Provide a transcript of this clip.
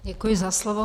Děkuji za slovo.